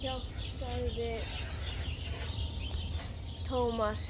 hjálp sagði Thomas.